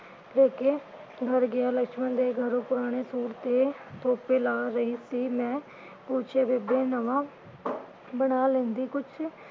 ਵਰਗਿਆਂ ਲਕਸ਼ਮਣ ਦੇ ਘਰੋਂ ਪੁਰਾਣੇ ਸੂਟ ਤੇ ਤੋਪੇ ਲਾ ਰਹੀ ਸੀ, ਮੈਂ ਪੁੱਛਿਆ ਬੇਬੇ ਨਵਾਂ ਬਣਾ ਲੈਂਦੀ ਕੁਛ